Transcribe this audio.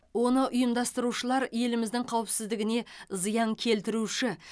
оны ұйымдастырушылар еліміздің қауіпсіздігіне зиян келтіруші